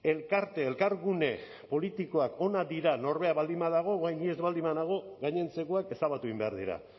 elkarte elkargune politikoak onak dira norberak baldin badago orain ni ez baldin banago gainontzekoak ezabatu egin behar dira